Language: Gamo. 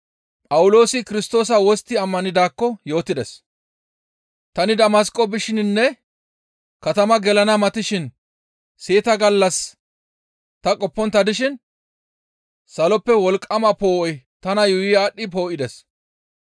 «Tani Damasqo bishininne katamaa gelana matishin seeta gallas ta qoppontta dishin saloppe wolqqama poo7oy tana yuuyi aadhdhi poo7ides.